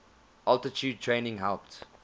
altitude training helped